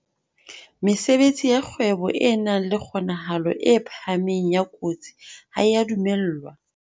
Mesebetsi ya kgwebo e nang le kgonahalo e phahameng ya kotsi ha e a dumellwa.